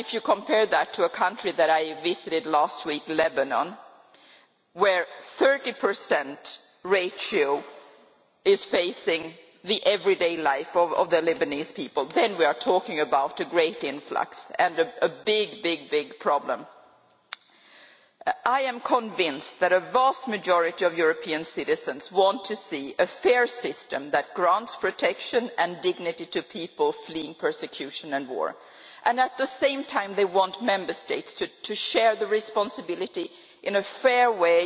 Compare that to a country that I visited last week, Lebanon, where a 30 ratio is facing the everyday life of the Lebanese people there we are talking about a great influx and a big, big problem. I am convinced that the vast majority of European citizens want to see a fair system that grants protection and dignity to people fleeing persecution and war, and at the same time they want Member States to share the responsibility in a fair way,